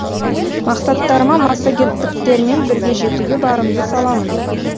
мақсаттарыма массагеттіктермен бірге жетуге барымды саламын